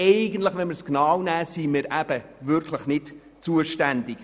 Nimmt man es aber genau, sind wir nicht zuständig.